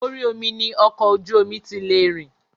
Orí omi ni ọkọ̀ ojú omi ti lè rìn.